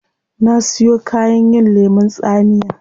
Na siyon kayan yin lemun tsamiya